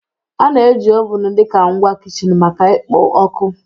A na-eji ovun dị ka ngwa kichin maka ikpo ọkụ